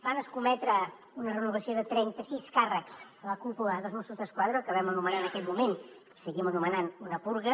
van escometre una renovació de trenta sis càrrecs la cúpula dels mossos d’esquadra que vam anomenar en aquell moment i seguim anomenant una purga